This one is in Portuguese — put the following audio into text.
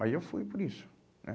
Mas eu fui por isso né